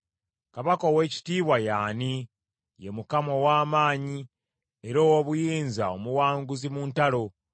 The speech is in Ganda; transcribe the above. Kabaka ow’ekitiibwa ye ani? Ye Mukama ow’amaanyi era ow’obuyinza, omuwanguzi mu ntalo.